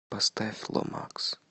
поставь ломакс